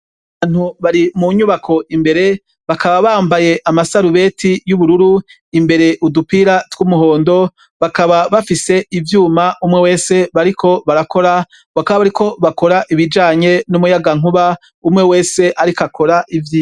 Abantu bari mu nyubako imbere bakaba bambaye amasarubeti y'ubururu imbere udupira tw'umuhondo, bakaba bafise ivyuma umwe wese bariko barakora, bakaba bariko bakora ibijanye n'umuyagankuba umwe wese ariko akora ivyiwe.